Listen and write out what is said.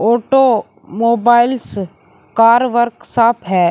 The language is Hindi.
फोटो मोबाइल्स कार वर्कशॉप है।